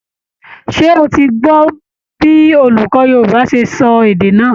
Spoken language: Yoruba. Ṣé ó ti gbọ́ bí olùkọ́ Yorùbá ti sọ èdè náà?